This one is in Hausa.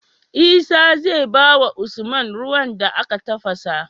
Isa zai bawa usman ruwan da aka tafasa